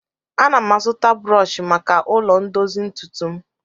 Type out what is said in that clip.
Ana m azụta brọọshị maka ụlọ ndozi ntụtụ m